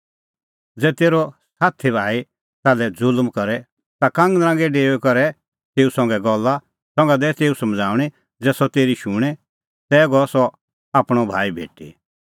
ज़ै तेरअ साथी भाई ताल्है ज़ुल्म करे ता कांगनरांगै डेऊई करै तेऊ संघै गल्ला संघा दैऐ तेऊ समझ़ाऊंणी ज़ै सह तेरी शुणें तै गअ ताह आपणअ भाई भेटी